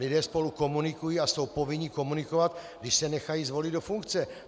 Lidé spolu komunikují a jsou povinni komunikovat, když se nechají zvolit do funkce.